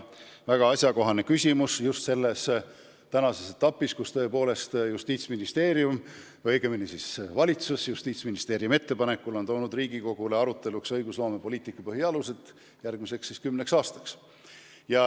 See on väga asjakohane küsimus just praeguses etapis, kus tõepoolest Justiitsministeerium või õigemini valitsus Justiitsministeeriumi ettepanekul on esitanud Riigikogule arutada õigusloomepoliitika põhialused järgmiseks kümneks aastaks.